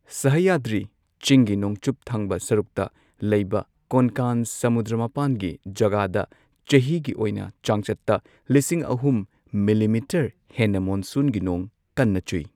ꯁꯍꯌꯗ꯭ꯔꯤ ꯆꯤꯡꯒꯤ ꯅꯣꯡꯆꯨꯞ ꯊꯪꯕ ꯁꯔꯨꯛꯇ ꯂꯩꯕ ꯀꯣꯟꯀꯥꯟ ꯁꯃꯨꯗ꯭ꯔ ꯃꯄꯥꯟꯒꯤ ꯖꯒꯥꯗ ꯆꯍꯤꯒꯤ ꯑꯣꯏꯅ ꯆꯥꯡꯆꯠꯇ ꯂꯤꯁꯤꯡ ꯑꯍꯨꯝ ꯃꯤꯜꯂꯤꯃꯤꯇꯔ ꯍꯦꯟꯅ ꯃꯣꯟꯁꯨꯟꯒꯤ ꯅꯣꯡ ꯀꯟꯅ ꯆꯨꯏ꯫